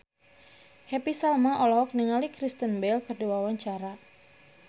Happy Salma olohok ningali Kristen Bell keur diwawancara